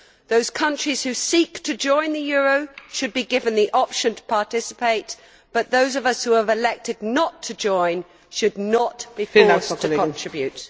Those countries who seek to join the euro should be given the option to participate but those of us who have elected not to join should not be forced to contribute.